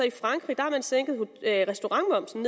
i frankrig har sænket restaurantmomsen